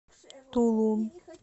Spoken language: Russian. тулун